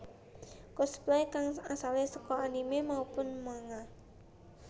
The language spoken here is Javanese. Cosplay kang asale saka anime maupun manga